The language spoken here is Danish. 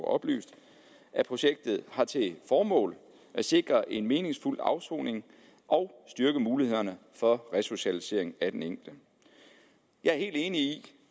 oplyst at projektet har til formål at sikre en meningsfuld afsoning og styrke mulighederne for resocialisering af den enkelte jeg er helt enig